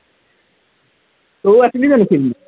তইও আছিলি জানো সেইদিনা